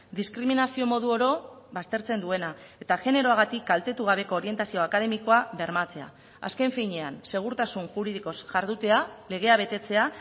diskriminazio modu oro baztertzen duena eta generoagatik kaltetu gabeko orientazio akademikoa bermatzea azken finean segurtasun juridikoz jardutea legea betetzea